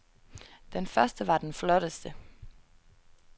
Den første var den flotteste.